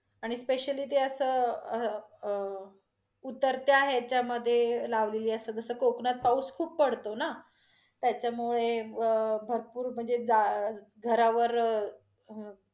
आणि specially ते अस अ~ उतरत्या ह्याच्यामधे लावलेली असतात, जस कोकणात पाऊस खूप पडतो न, त्याच्यामुळे अं भरपूर म्हणजे जाळ घरावरं